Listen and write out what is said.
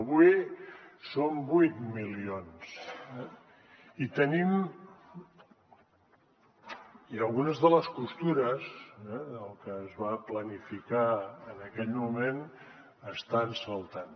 avui som vuit milions i algunes de les costures del que es va planificar en aquell moment estan saltant